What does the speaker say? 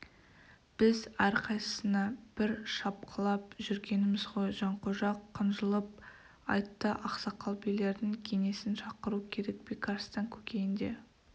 біз әрқайсысына бір шапқылап жүргеніміз ғой жанқожа қынжылып айтты ақсақал-билердің кеңесін шақыру керек бекарыстан көкейінде